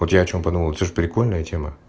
вот я о чем подумал это же прикольная тема